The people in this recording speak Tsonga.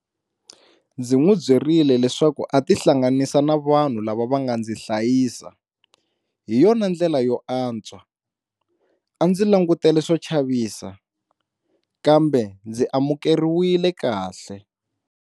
Ndzi n'wi byerile leswaku a tihlanganisa na vanhu lava va nga ndzi hlayisa - hi yona ndlela yo antswa. A ndzi langutele swo chavisa, kambe ndzi amukeriwile kahle.